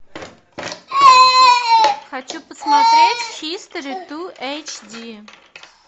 хочу посмотреть хистори ту эйчди